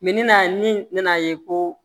na ni nana ye ko